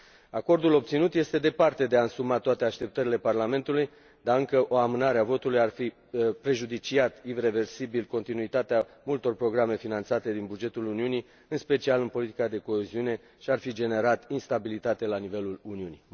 Acordul obținut este departe de a însuma toate așteptările Parlamentului, dar încă o amânare a votului ar fi prejudiciat ireversibil continuitatea multor programe finanțate din bugetul Uniunii, în special în politica de coeziune, și ar fi generat instabilitate la nivelul Uniunii.